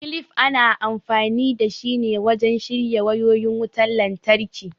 kilif ana amfani dashi ne wajen shirya wayoyin wutan lantraki